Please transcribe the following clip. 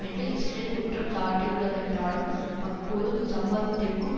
என்று இஸ்ரேல் குற்றம் சாட்டியுள்ளதென்றாலும் அக்குழு இச்சம்பவத்திற்கும்